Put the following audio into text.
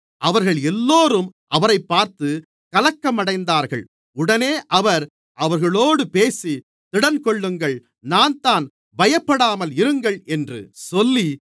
அவர்கள் எல்லோரும் அவரைப் பார்த்து கலக்கம் அடைந்தார்கள் உடனே அவர் அவர்களோடு பேசி திடன்கொள்ளுங்கள் நான்தான் பயப்படாமல் இருங்கள் என்று சொல்லி